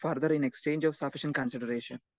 Speaker 2 further in exchange of sufficient consideration.